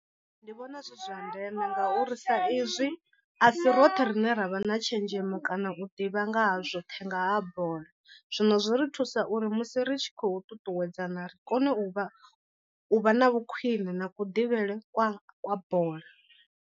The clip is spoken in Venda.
Ndi vhona zwi zwa ndeme ngauri sa izwi a si roṱhe rine ra vha na tshenzhemo kana u ḓivha nga ha zwoṱhe nga ha bola. Zwino zwi ri thusa uri musi ri tshi khou ṱuṱuwedzana ri kone u vha u vha na vhu khwiṋe na kuḓivhele kwa kwa bola.